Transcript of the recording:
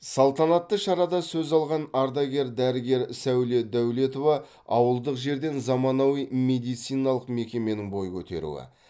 салтанатты шарада сөз алған ардагер дәрігер сәуле дәулетова ауылдық жерден заманауи медициналық мекеменің бой көтеруі